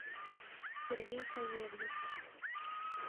сергей савельев